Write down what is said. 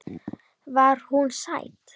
Var hún sæt?